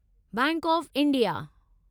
bank of India